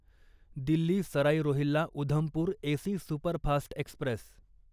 Delhi Sarai Rohilla Udhampur AC superfast Express